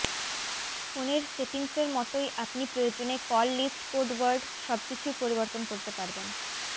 ফোনের সেটিংসর মতই আপনি প্রয়োজনে কল লিস্ট কোড ওয়ার্ড সবকিছুই পরিবর্তন করতে পারবেন